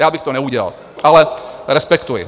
Já bych to neudělal, ale respektuji.